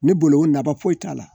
Ne bolo nafa foyi t'a la